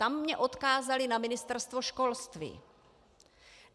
Tam mě odkázali na Ministerstvo školství.